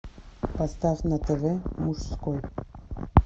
поставь на тв мужской